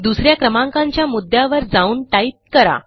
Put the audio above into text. दुस या क्रमांकाच्या मुद्यावर जाऊन टाईप करा